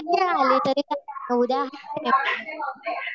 कधीही आली तरी काही नाही उद्या